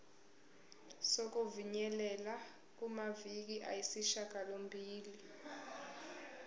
sokufinyelela kumaviki ayisishagalombili